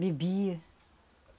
Bebia.